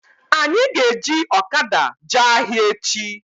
Anyị ga-eji ọkada jee ahịa echi